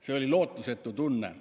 See oli lootusetu tunne.